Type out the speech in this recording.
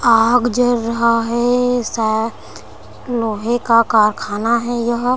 आग जल रहा है साह लोहे का कारखाना है यह--